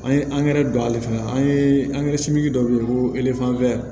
An ye angɛrɛ don ale fɛnɛ an ye simi dɔ wele ko